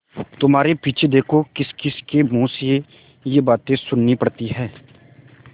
तुम्हारे पीछे देखो किसकिसके मुँह से ये बातें सुननी पड़ती हैं